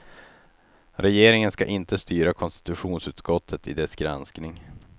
Regeringen skall inte styra konstitutionsutskottet i dess granskning.